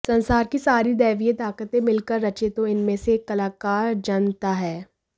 संसार की सारी दैवीय ताकते मिल कर रचे तो इनमे से एक कलाकार जन्मता है